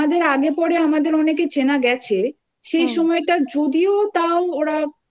তো ঠিক নয়! আর আমাদের আগে পরে আমাদের অনেকে চেনা গেছে